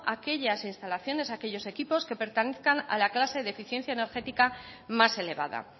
aquellas instalaciones aquellos equipos que pertenezcan a la clase de eficiencia energética más elevada